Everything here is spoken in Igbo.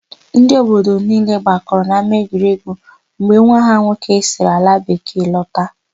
Ndị obodo niile gbakọrọ n'ámáegwuregwu mgbe nwa ha nwoke siri alabekee lọta.